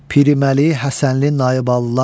Piriməli Həsənli Nayballılar.